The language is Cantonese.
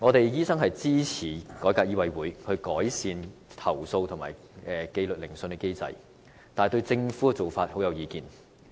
醫生支持改革醫委會，改善投訴和紀律研訊機制，但卻不贊同政府的做法。